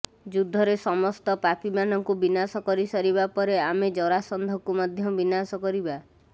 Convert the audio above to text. ଯୁଦ୍ଧରେ ସମସ୍ତ ପାପୀମାନଙ୍କୁ ବିନାଶ କରିସାରିବା ପରେ ଆମେ ଜରାସନ୍ଧକୁ ମଧ୍ୟ ବିନାଶ କରିବା